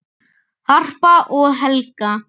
Harpa og Helga.